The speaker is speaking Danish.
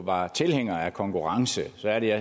var tilhænger af konkurrence så er det at